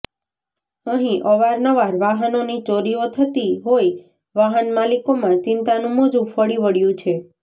અહી અવાર નવાર વાહનોની ચોરીઓ થતી હોઈ વાહન માલિકોમાં ચિંતાનું મોજું ફરી વળ્યું છે